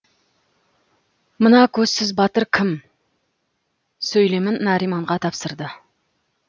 мына көзсіз батыр кім сөйлемін нариманға тапсырды